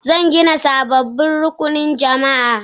Zan gina sababbin rukunan jama'a.